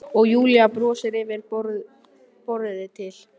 Auðvitað er þetta ekki tæmandi lýsing.